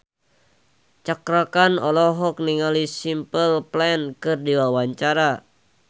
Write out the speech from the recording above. Cakra Khan olohok ningali Simple Plan keur diwawancara